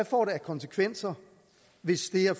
får af konsekvenser hvis det her